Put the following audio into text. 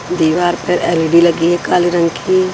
दीवार पर एलईडी लगी है काले रंग की।